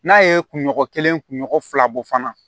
N'a ye kunɲɔgɔn kelen kunɲɔgɔn fila bɔ fana